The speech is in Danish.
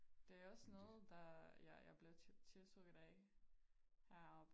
Det er også noget der jeg jeg blev tiltrukket af heroppe